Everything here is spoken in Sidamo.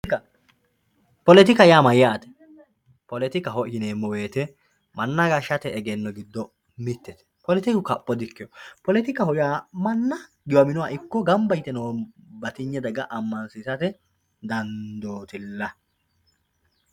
poletika poletika yaa mayyaate poletikaho yineemmo woyte manna gashshate egenno giddo mittete poletiku kapho di ikkewo manna giwaminoha ikko gamba yite noo batinye daga ammansiisate dandootilla